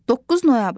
9 noyabr.